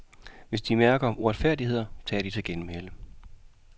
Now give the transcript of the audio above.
Hvis de mærker uretfærdigheder, tager de til genmæle.